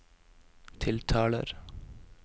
tiltaler